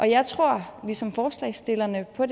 jeg tror ligesom forslagsstillerne på